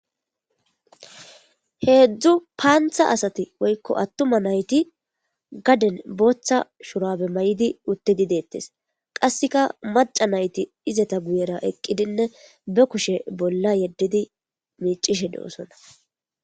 Heezzu panththa asathi woykko aththuma na7ithi gaden booththa shuraabe mayidi uththidi deeththes; qassika macca na7ithi izetha guyera eqqidinne be kushe bolla yeddidi miiccishe de7oosona.